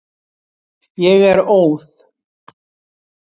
Ég er óð.